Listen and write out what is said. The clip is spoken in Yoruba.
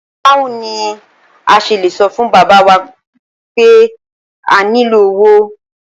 Báwo ni a s̩e lè so̩ fún bàbá w ape a nílò owó?